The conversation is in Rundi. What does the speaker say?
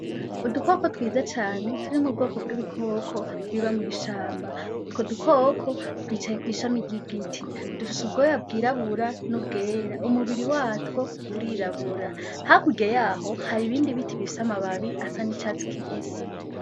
Udukoko twiza cane turi mubwoko bw'ibikoko biba mw'ishamba utwo dukoko dufise ubwoye bwirabura n' ubwera umubiri watwo urirabura hakurya yaho hari ibindi biti bifise amababi asa n' icatsi kibisi.